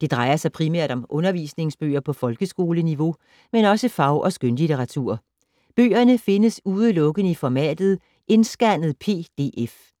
Det drejer sig primært om undervisningsbøger på folkeskoleniveau, men også fag- og skønlitteratur. Bøgerne findes udelukkende i formatet indscannet PDF.